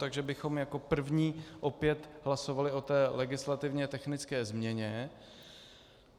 Takže bychom jako první opět hlasovali o té legislativně technické změně.